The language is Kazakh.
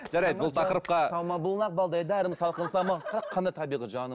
жарайды бұл тақырыпқа самал бұлақ балдай дәрім салқын самал қара қандай табиғи жаным